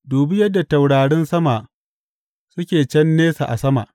Dubi yadda taurarin sama suke can nesa a sama!